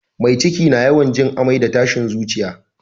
Mai ciki na yawan jin amai da tashin zuciya